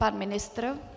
Pan ministr?